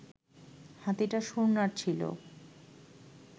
হাতিটা শুঁড় নাড়ছিল